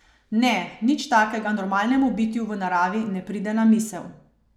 Ne, nič takega normalnemu bitju v naravi ne pride na misel.